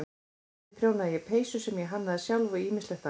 Einnig prjónaði ég peysur sem ég hannaði sjálf og ýmislegt annað.